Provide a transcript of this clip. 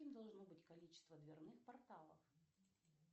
каким должно быть количество дверных порталов